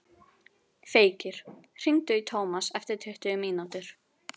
Feykir, hringdu í Tómas eftir tuttugu mínútur.